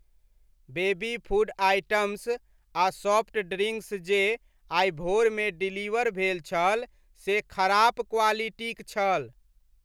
Baby food items आ soft drinks जे आइ भोरमे डिलीवर भेल छल से खराप क्वालिटीक छल।